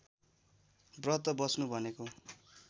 व्रत बस्नु भनेको